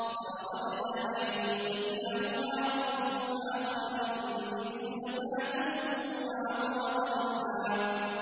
فَأَرَدْنَا أَن يُبْدِلَهُمَا رَبُّهُمَا خَيْرًا مِّنْهُ زَكَاةً وَأَقْرَبَ رُحْمًا